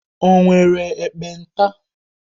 O nwere ekpenta?